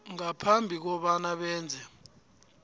ngaphambi kobana benze